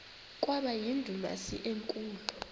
kwaba yindumasi enkulu